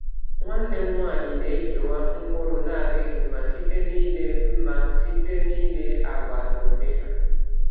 Nwanne m nwanyị na-ekewa mkpụrụ na-adịghị mma site n’ile mma site n’ile agba na ụdị ha.